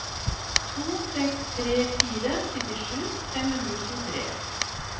to seks tre fire syttisju fem hundre og tjuetre